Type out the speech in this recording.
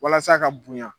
Walasa ka bonya